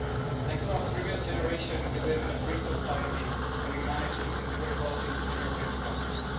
Thanks to our previous generation, we live in a free society and we managed to integrate well into the European structures.